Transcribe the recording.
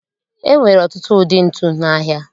E nwere ọtụtụ ụdị ntu n'ahịa